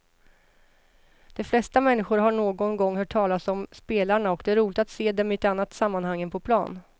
De flesta människor har någon gång hört talas om spelarna och det är roligt att se dem i ett annat sammanhang än på plan.